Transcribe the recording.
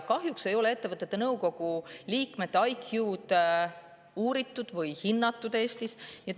Kahjuks ei ole Eestis ettevõtete nõukogu liikmete IQ-d uuritud või hinnatud.